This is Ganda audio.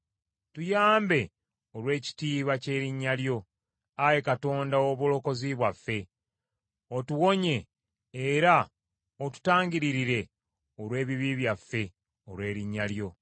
Tuyambe olw’ekitiibwa ky’erinnya lyo, Ayi Katonda ow’obulokozi bwaffe; otuwonye era otutangiririre olw’ebibi byaffe olw’erinnya lyo.